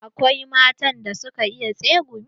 Akwai matan da suka iya tsegumi.